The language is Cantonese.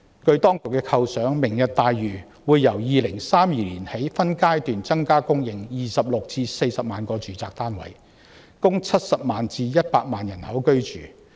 按當局的構想，"明日大嶼願景"會由2032年起分階段增加供應26萬至40萬個住宅單位，供70萬至100萬人居住。